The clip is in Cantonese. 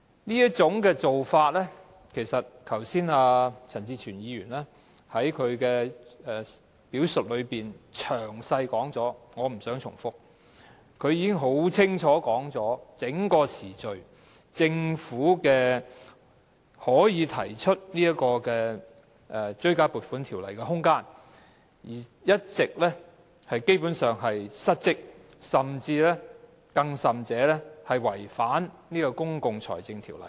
就這種做法，剛才陳志全議員在他的發言中已詳細說明，我不想重複，他已經很清楚地敍述在整段時間內，政府是有提出《條例草案》的空間，但卻基本上一直失職，甚至違反《公共財政條例》。